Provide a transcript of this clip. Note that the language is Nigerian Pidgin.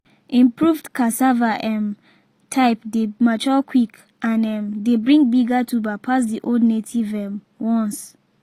improved cassava um type dey mature quick and um dey bring bigger tuber pass the old native um ones.